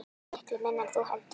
Miklu minna en þú heldur.